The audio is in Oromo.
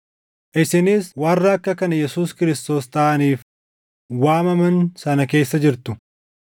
Isinis warra akka kan Yesuus Kiristoos taʼaniif waamaman sana keessa jirtu.